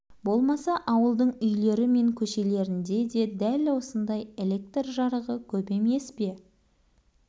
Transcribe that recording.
болмаса ауылдың үйлері мен көшелерінде де дәл осындай электр жарығы көп емес пе